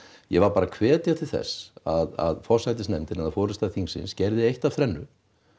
ég var bara að hvetja til þess að forsætisnefndin eða forysta þingsins gerði eitt af þrennu